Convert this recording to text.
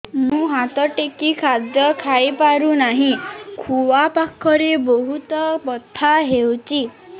ମୁ ହାତ ଟେକି ଖାଦ୍ୟ ଖାଇପାରୁନାହିଁ ଖୁଆ ପାଖରେ ବହୁତ ବଥା ହଉଚି